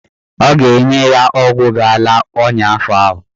Ọ ga-enye ya ọgwụ ga-ala ọnya afọ ahụ.